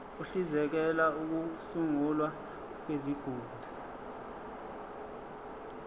uhlinzekela ukusungulwa kwezigungu